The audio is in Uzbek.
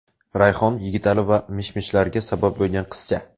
Rayhon, Yigitali va mish-mishlarga sabab bo‘lgan qizcha.